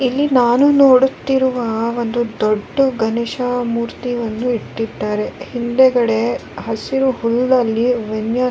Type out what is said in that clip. ಇಲ್ಲಿ ನಾನು ನೋಡುತ್ತಿರುವ ಒಂದು ದೊಡ್ದ ಗಣೇಶ ಮೂರ್ತಿಯನ್ನು ಇಟ್ಟಿದ್ದಾರೆ ಹಿಂದೆಗಡೆ ಹಸಿರು ಹೂವಲ್ಲಿ .]